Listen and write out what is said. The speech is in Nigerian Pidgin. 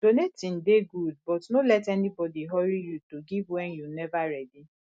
donating dey good but no let anybody hurry you to give wen you nova ready